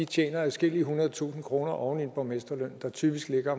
tjener adskillige hundrede tusind kroner oven i borgmesterlønnen der typisk ligger